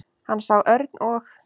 Hann sá Örn og